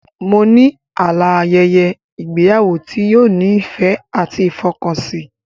Mo ní àlá a ayẹyẹ ìgbéyàwó tí yóò ní ìfẹ́ àti ìfọkànsìn